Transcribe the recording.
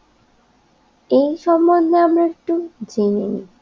এই সম্বন্ধে আমরা একটু জেনে নিই